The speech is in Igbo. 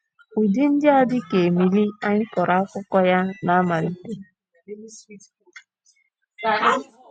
Ụdị ndị a dị ka Emily anyị kọrọ akụkọ ya ná mmalite.